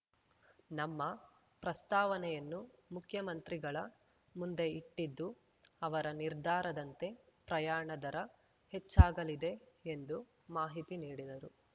ನಮ್ಮ ಪ್ರಸ್ತಾವನೆಯನ್ನು ಮುಖ್ಯಮಂತ್ರಿಗಳ ಮುಂದೆ ಇಟ್ಟಿದ್ದು ಅವರ ನಿರ್ಧಾರದಂತೆ ಪ್ರಯಾಣ ದರ ಹೆಚ್ಚಾಗಲಿದೆ ಎಂದು ಮಾಹಿತಿ ನೀಡಿದರು